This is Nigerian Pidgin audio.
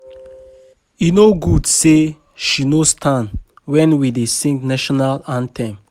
E no good say she no stand wen we dey sing national anthem